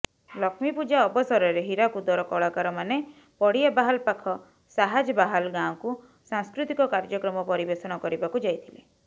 ଲକ୍ଷ୍ମୀପୂଜା ଅବସରରେ ହୀରାକୁଦର କଳାକାରମାନେ ପଡ଼ିଆବାହାଲ ପାଖ ସାହାଜବାହାଲ ଗାଁକୁ ସାଂସ୍କୃତିକ କାର୍ଯ୍ୟକ୍ରମ ପରିବେଷଣ କରିବାକୁ ଯାଇଥିଲେ